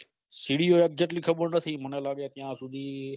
સીડિયો યાર કેટલી ખબર નથી મને લાગે ત્યાં સુધી